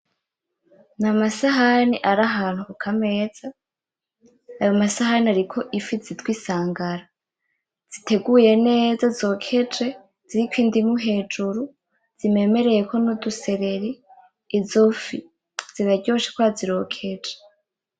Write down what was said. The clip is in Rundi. N,amasahani ari ahantu kukameza ayo masahani ariko ifi zitwa insangara ziteguye neza zokeje ziriko indimu hejuru zimemereyeko n'udusereri izo fi ziraryoshe kubera zirokeje .